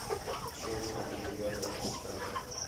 черная бригада поставь